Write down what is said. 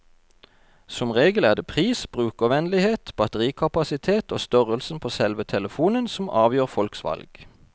Som regel er det pris, brukervennlighet, batterikapasitet og størrelsen på selve telefonen som avgjør folks valg.